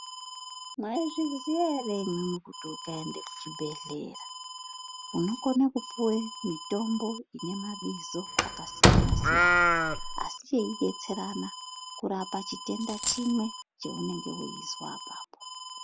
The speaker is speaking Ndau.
Mwaizviziya ere imwimwi kuti ukaenda kuzvibhehleya munokone kupiwe mitombo ine mabizo akasiyanasiya asi yeidetserana kurape chitenda chimwe cheunenge weizwa apapo.